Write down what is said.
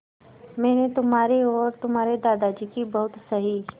मैंने तुम्हारी और तुम्हारे दादाजी की बहुत सही